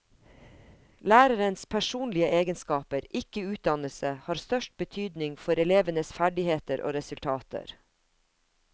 Lærerens personlige egenskaper, ikke utdannelse, har størst betydning for elevenes ferdigheter og resultater.